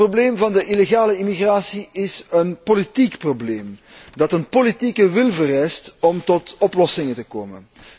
Het probleem van de illegale immigratie is een politiek probleem dat een politieke wil vereist om tot oplossingen te komen.